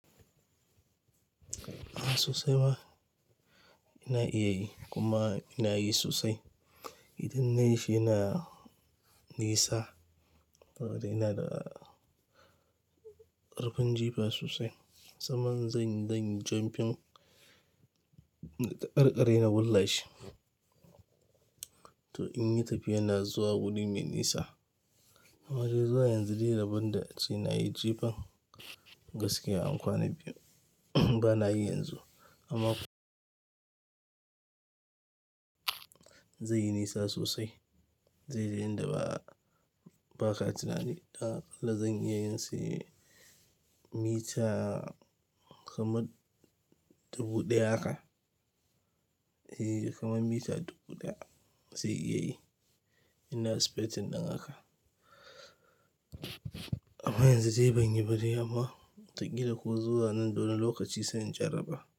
A sosai ma. Ina iya yi, kuma ina yi sosai. Idan na yi shi yana nisa, saboda ina da ƙarfin jifa sosai. Sannan in zan yi, zan yi jumping, na taƙarƙare na wullashi. To in yi tafiya na zuwa wuri mai nisa. Amma dai zuwa yanzu dai rabon da a ce na yi jifan, gaskiya an kwana biyu, ba na yi yanzu. Amma, zai yi nisa sosai, zai yi yanda ba, ba ka tuna ni. Dan aƙalla zan iya yin sa yayi mita kamar dubu ɗaya haka. Eh, kamar mita dubu ɗaya, zai iya yi. Ina expecting ɗin haka. Amma yanzu dai ban yi badai, amma wata ƙila ko zuwa nan da wani lokaci sai in jarraba.